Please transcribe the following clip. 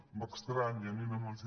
m’estranya ni una menció